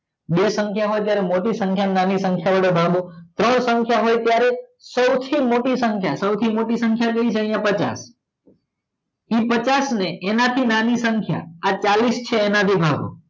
બે સંખ્યા હોય ત્યારે મોટી સંખ્યા ને નાની સંખ્યા વડે ભાગો ત્રણ સંખ્યા હોય ત્યારે સૌથી મોટી સંખ્યા સૌથી મોટી સંખ્યા કઈ છે અયા પચાસ પચાસ ને એના થી નાની સંખ્યા આ ચાલીસ છે એના વડે ભાગો